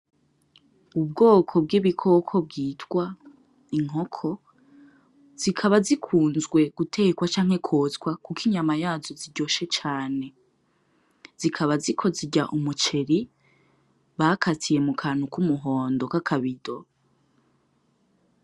Ubwoko bw'ibikoko bwitwa inkoko zikaba zikuzwe gutekwa canke kwotswa kuko inyama yazo ziryoshe cane. Zikaba ziko zirya umuceri bakatiye mu kantu k'umuhondo k'akabido.